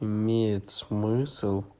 имеет смысл